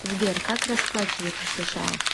сбер как расплачиваться в сша